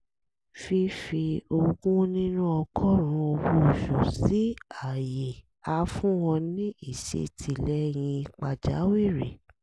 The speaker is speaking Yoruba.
fífi ogún nínú ọgọ́rùn-ún owó oṣù sí àyè á fún ọ ní ìṣètìlẹyìn pàjáwìrì